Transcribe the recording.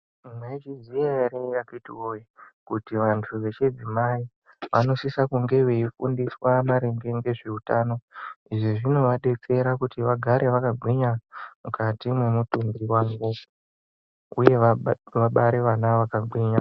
Mwaizviziya ere akiti woye kuti vantu vechidzimai vanosisa kunge veifundiswa maringe ngezveutano izvo zvinovadetsera kuti vagare vakagwinya mukati mwemutumbi wavo uye vabare vana vakagwinya.